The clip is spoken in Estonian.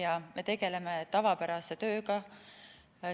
Nüüd me tegeleme tavapärase tööga.